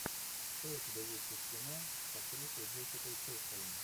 что у тебя есть из кино с актрисой джессикой честейн